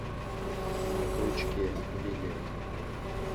на крючке билет